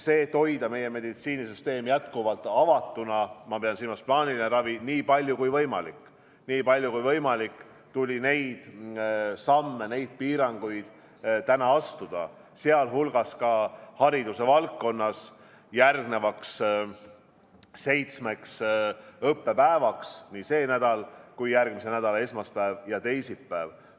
Selleks, et hoida meie meditsiinisüsteem jätkuvalt avatuna, ma pean silmas plaanilist ravi, nii palju kui võimalik, tuli neid samme astuda ja piiranguid kehtestada, sh hariduse valdkonnas järgmiseks seitsmeks õppepäevaks, sh nii see nädal kui ka järgmise nädala esmaspäev ja teisipäev.